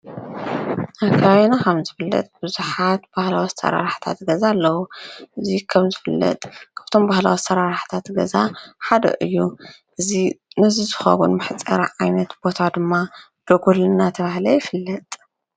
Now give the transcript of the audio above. ኣብ ከባቢና ከምዝፍለጥ ቡዝሓት ባህላዊ ኣሳራርሓ ገዛ ኣለዉ። እዚ ከምዝፍለጥ እቶም ባህላዊ ኣሳራርሓ ገዛ ሓደ እዮም። ነዚ ዝከውን መሕፀሪ ዓይነት ቦታ ደጎል እንዳተባሃለ ድማ ይፍለጥ።